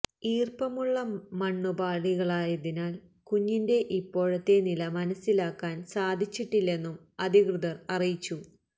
ഈർപ്പമുള്ള മണ്ണുപാളികളായതിനാൽ കുഞ്ഞിന്റെ ഇപ്പോഴത്തെ നില മനസിലാക്കാൻ സാധിച്ചിട്ടില്ലെന്നും അധികൃതർ അറിയിച്ചു